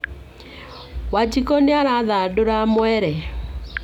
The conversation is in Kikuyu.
Wanjikũ nĩ arathandora mwere